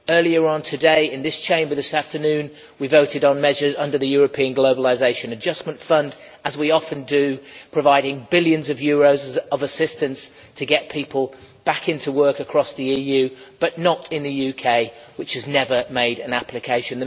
Earlier this afternoon in this Chamber we voted on measures under the European Globalisation Adjustment Fund, as we often do, providing billions of euros of assistance to get people back into work across the EU, but not in the UK, which has never made an application.